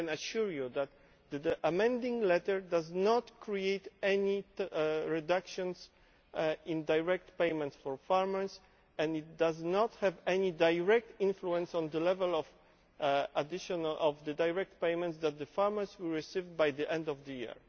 I can assure you that the Amending Letter does not create any reductions in direct payments for farmers and it does not have any direct influence on the level of direct payments that the farmers will have received by the end of the year.